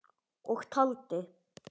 Og taldi